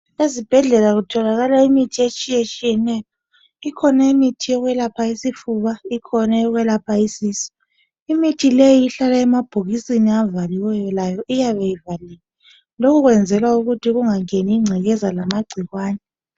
Ezibhedlela kutholakala imithi etshiyatshiyeneyo ikhona imithi eyokwelapha isifuba ikhona eyokwelapha isisu. Imithi leyo ihlala emabhokisini avaliweyo layo iyabe ivaliwe lokhu kwenzela ukuthi kungangeni ingcekeza lamangcikwane.